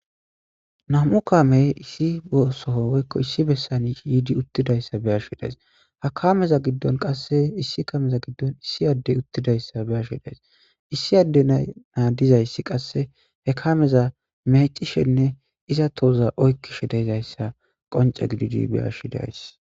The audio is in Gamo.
nam7u kamey issi soho woykko issi bessan yiidi uttidayssa be7ashe days ha kameza giddon qasse issi kameza giddon issi addey uttidayssa be7ashe days issi adde na 7a dizayssi qasse he kameza meeccishenne iza tohoza oykkishe dizayssa qoncce gididi be7ashe de7ays.